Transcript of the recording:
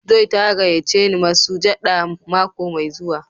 "Joy" ta gayace ni masujaɗa mako mai zuwa.